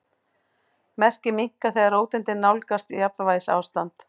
Merkið minnkar þegar róteindirnar nálgast jafnvægisástand.